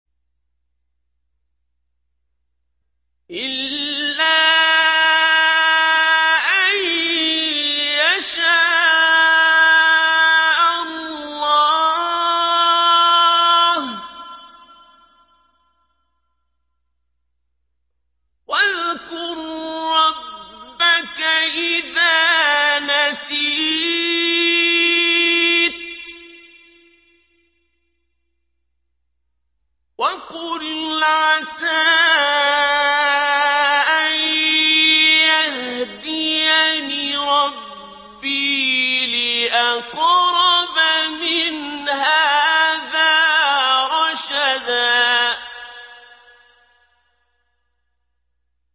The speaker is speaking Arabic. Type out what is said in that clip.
إِلَّا أَن يَشَاءَ اللَّهُ ۚ وَاذْكُر رَّبَّكَ إِذَا نَسِيتَ وَقُلْ عَسَىٰ أَن يَهْدِيَنِ رَبِّي لِأَقْرَبَ مِنْ هَٰذَا رَشَدًا